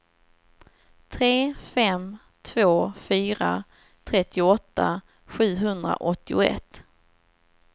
tre fem två fyra trettioåtta sjuhundraåttioett